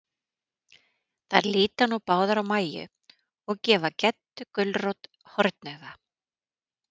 Þær líta nú báðar á Mæju, og gefa Geddu gulrót hornauga.